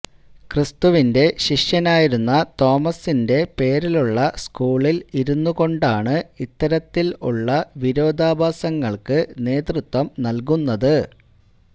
ക്രിസ്തുവിന്റെ ശിഷ്യനായിരുന്ന തോമസിന്റെ പേരിലുള്ള സ്കൂളില് ഇരുന്നുകൊണ്ടാണ് ഇത്തരത്തില് ഉള്ള വിരോധാഭാസങ്ങള്ക്ക് നേതൃത്വം നല്കുന്നത്